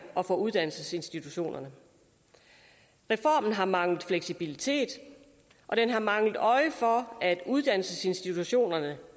og for uddannelsesinstitutionerne reformen har manglet fleksibilitet og den har manglet øje for at uddannelsesinstitutionerne